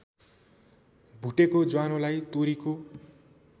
भुटेको ज्वानोलाई तोरीको